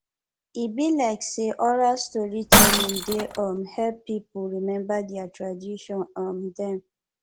e be like sey oral storytelling dey um help pipo rememba their tradition um dem